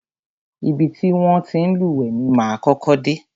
Ibi ti wọn ti ń lúwẹ̀ẹ́ ni máa kọ́kọ́ dé.